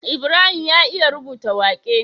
Ibrahim ya iya rubuta waƙe